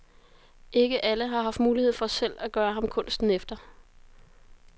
Ikke alle har haft mulighed for selv at gøre ham kunsten efter.